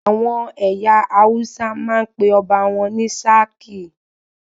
Àwọn ẹyà Hausa máa ń pe ọba wọn ní "sarki"